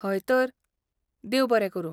हय तर, देव बरें करूं.